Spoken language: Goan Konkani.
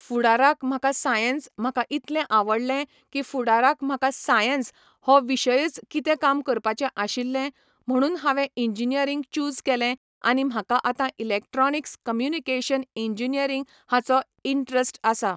फुडाराक म्हाका सायन्स म्हाका इतलें आवडलें की फुडाराक म्हाका सायन्स हा विशयच कितें काम करपाचें आशिल्लें, म्हणून हांवें इंजिनियरींग च्युझ केलें आनी म्हाका आतां इलेक्ट्रोनीक्स कम्यूनिकेशन इंजिनियरींग हाचो इंट्रस्ट आसा.